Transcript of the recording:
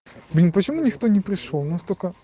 блин почему никто не пришёл нас тоько